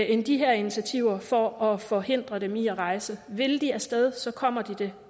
end de her initiativer for at forhindre dem i at rejse vil de af sted så kommer de det